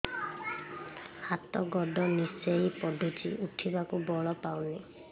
ହାତ ଗୋଡ ନିସେଇ ପଡୁଛି ଉଠିବାକୁ ବଳ ପାଉନି